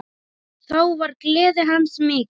Þá var gleði hans mikil.